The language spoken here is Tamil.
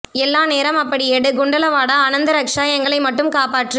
எல்லாம் நேரம் அப்பிடி எடு குண்டல வாடா அநத ரக்ஷக எங்களை மட்டும் காப்பாற்று